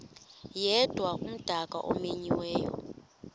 yedwa umdaka omenyiweyo